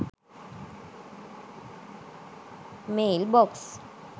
mailbox